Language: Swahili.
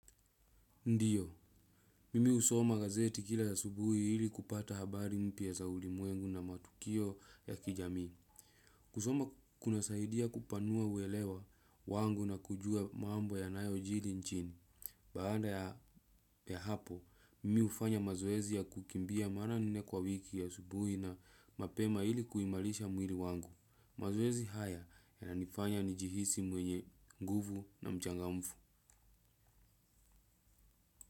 Ndio, mimi husoma gazeti kila asubuhi ili kupata habari mpya za ulimwengu na matukio ya kijamii. Kusoma kunasaidia kupanua uelewa wangu na kujua mambo yanayojiri nchini. Baada ya hapo, mimi hufanya mazoezi ya kukimbia mara nne kwa wiki asubuhi na mapema ili kuimarisha mwili wangu. Mazoezi haya yananifanya nijihisi mwenye nguvu na mchangamfu.